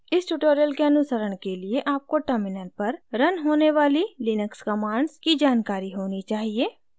इस tutorial के अनुसरण के लिए आपको terminal पर रन होने वाली लिनक्स commands की जानकारी होनी चाहिए